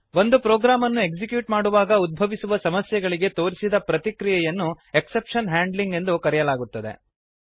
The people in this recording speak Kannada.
ಒಂದು ಪ್ರೋಗ್ರಾಮನ್ನು ಎಕ್ಸಿಕ್ಯೂಟ್ ಮಾಡುವಾಗ ಉದ್ಭವಿಸುವ ಸಮಸ್ಯೆಗಳಿಗೆ ತೋರಿಸಿದ ಪ್ರತಿಕ್ರಿಯೆಯನ್ನು ಎಕ್ಸೆಪ್ಶನ್ ಹ್ಯಾಂಡ್ಲಿಂಗ್ ಎಂದು ಹೇಳಲಾಗುತ್ತದೆ